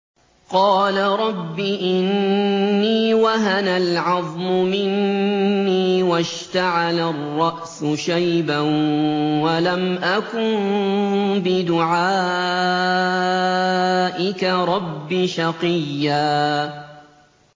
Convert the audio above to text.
قَالَ رَبِّ إِنِّي وَهَنَ الْعَظْمُ مِنِّي وَاشْتَعَلَ الرَّأْسُ شَيْبًا وَلَمْ أَكُن بِدُعَائِكَ رَبِّ شَقِيًّا